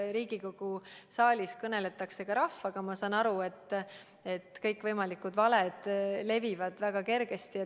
Riigikogu saalis kõneldakse ka rahvaga ja ma saan aru, et kõikvõimalikud valed levivad väga kergesti.